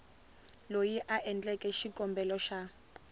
loyi a endleke xikombelo xa